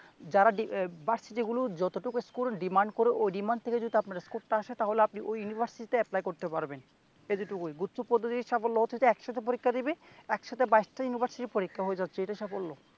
যারা ভার্সিটিগুলো যতটুক স্কোর demand করে ঐ demand থেকে যদি আপনার স্কোরটা আসে তাহলে আপনি ঐ ইউনিভার্সিটিতে apply করতে পারবেন এতটুকুই গুচ্ছ পদ্ধতির সাফল্য হচ্ছে আপনি একসাথে পরীক্ষা দিবে একসাথে বাইশটা ইউনিভার্সিটির পরীক্ষা হয়ে যাচ্ছে এটাই সাফল্য